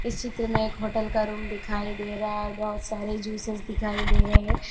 इस चित्र में एक होटल का रूम दिखाई दे रहा हैं और बहुत सारे जूसस दिखाई दे रहे हैं।